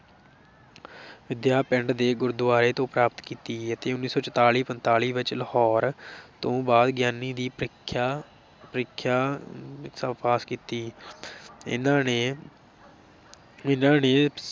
ਵਿਦਿਆ ਪਿੰਡ ਦੇ ਗੁਰਦੁਆਰੇ ਤੋਂ ਪ੍ਰਾਪਤ ਕੀਤੀ ਅਤੇ ਉੱਨੀ ਸੌ ਚੁਤਾਲੀ ਪੰਤਾਲੀ ਵਿੱਚ ਲਾਹੌਰ ਤੋਂ ਬਾਅਦ ਗਿਆਨੀ ਦੀ ਪ੍ਰੀਖਿਆ ਪ੍ਰੀਖਿਆ ਪਾਸ ਕੀਤੀ ਇਹਨਾਂ ਨੇ ਇਹਨਾਂ ਨੇ